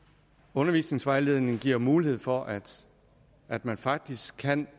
undervisningsvejledningen giver mulighed for at at man faktisk kan